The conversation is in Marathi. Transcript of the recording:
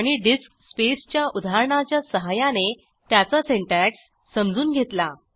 आणि डिस्क स्पेसच्या उदाहरणाच्या सहाय्याने त्याचा सिंटॅक्स समजून घेतला